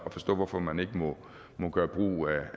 at forstå hvorfor man ikke må gøre brug